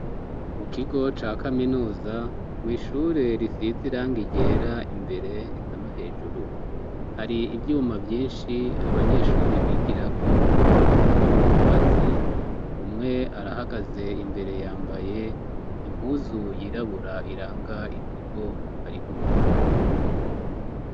Mu kigo ca kaminuza, mw' ishure risiz' irangi ryera imbere eka no hejuru hari ivyuma vyinshi abanyeshuri bigirako muvy'ubwubatsi, umwe arahagaze imbere yambaye impuzu yirabura iranga ikigo ari gukora